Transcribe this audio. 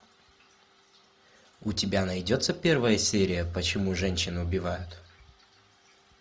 у тебя найдется первая серия почему женщины убивают